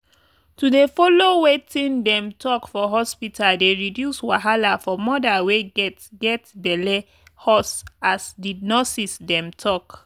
to dey follow wetin dem talk for hospita dey reduce wahala for moda wey get get belle hus as di nurses dem talk.